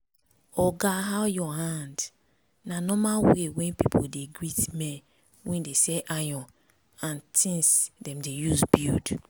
oga how your hand?” na normal way wey people dey greet men wey dey sell iron and tins dem dey use build